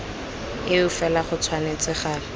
eo fela go tshwanetse ga